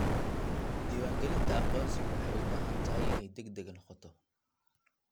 Diiwaangelinta aqoonsigu waxay u baahan tahay inay degdeg noqoto.